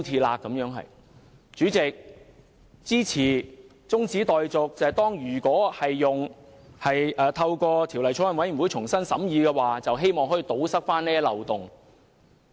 代理主席，我支持中止待續議案，讓法案委員會重新審議，以堵塞這些漏洞。